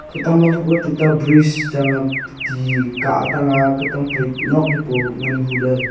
khatang ma hu koh ley tuta brigade chang ah ti kah tang ah khatang phai nok li poo ngan hu ley.